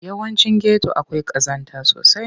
Yawancin geto akwai ƙazanta sosai.